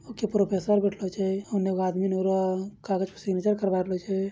okay professor बैठलो छे | ओने एगो आदमी | कागज पे सिग्नेचर करवा रहलो छे |